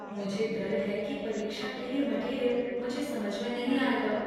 मुझे डर है कि परीक्षा के लिए मटीरियल मुझे समझ में नहीं आएगा।